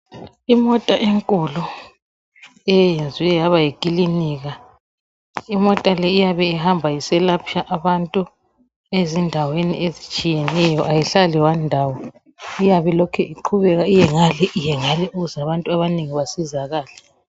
Imota enkulu eyenzwe yaba yikilinika imota le iyabe ihamba iselapha abantu ezindaweni ezitshiyeneyo ayihlali endaweni eyodwa iyabe ilokhe iqhubeka iyengale iyengale ukuze abantu abanengi bancedakale.